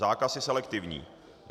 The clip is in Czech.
Zákaz je selektivní.